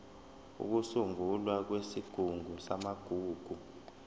ukusungulwa kwesigungu samagugu